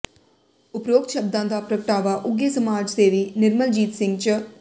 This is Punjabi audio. ਉਪਰੋਕਤ ਸ਼ਬਦਾਂ ਦਾ ਪ੍ਰਗਟਾਵਾ ਉੱਘੇ ਸਮਾਜ ਸੇਵੀ ਨਿਰਮਲਜੀਤ ਸਿੰਘ ਚ